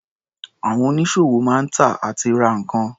Àwọn onísọ̀wò máa ń tà àti ra nǹkan.